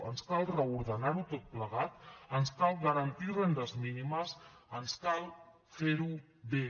ens cal reordenar ho tot plegat ens cal garantir rendes mínimes ens cal fer ho bé